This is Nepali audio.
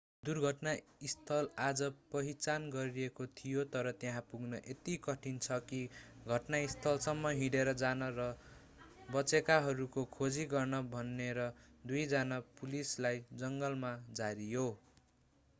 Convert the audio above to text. दुर्घटना स्थल आज पहिचान गरिएको थियो तर त्यहाँ पुग्न यति कठिन छ कि घटनास्थलसम्म हिँडेर जान र बचेकाहरूको खोजी गर्न भनेर दुई जना पुलिसलाई जङ्गलमा झारियो